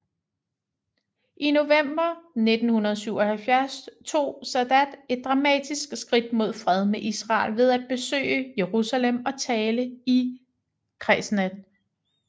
I november 1977 tog Sadat et dramatisk skridt mod fred med Israel ved at besøge Jerusalem og tale i Knesset